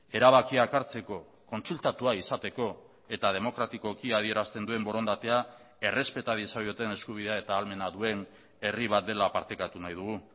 erabakiak hartzeko kontsultatua izateko eta demokratikoki adierazten duen borondatea errespeta diezaioten eskubidea eta ahalmena duen herri bat dela partekatu nahi dugu